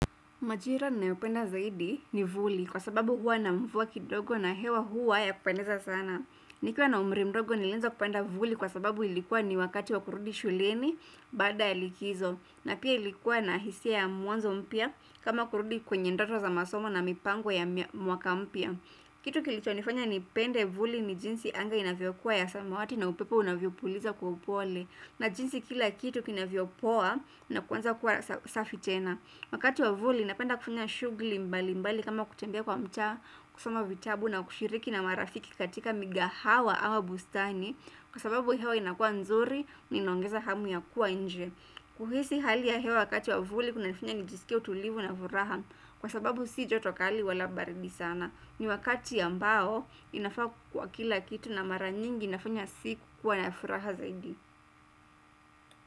Majira ninayopenda zaidi ni vuli kwa sababu huwa na mvua kidogo na hewa huwa ya kupendeza sana. Nikiwa na umri mdogo nilianza kupanda vivuli kwa sababu ilikuwa ni wakati wa kurudi shuleni baada ya likizo. Na pia ilikuwa na hisia ya mwanzo mpya kama kurudi kwenye ndoto za masomo na mipango ya mwaka mpya. Kitu kilichonifanya nipende vivuli ni jinsi anga inavyokuwa ya samawati na upepo unavyofuliza kwa upole. Na jinsi kila kitu kinavyopoa na kuanza kuwa safi tena. Wakati wa vuli napenda kufanya shughuli mbalimbali kama kutembea kwa mtaa kusoma vitabu na kushiriki na marafiki katika migahawa au bustani kwa sababu hiyo inakua nzuri na inaongeza hamu ya kuwa nje. Kuhisi hali ya hewa wakati wa vuli kunanifanya nijisikie utulivu na furaha kwa sababu si joto kali wala baridi sana. Ni wakati ambao inafaa kwa kila kitu na mara nyingi inafanya siku kuwa ya furaha zaidi.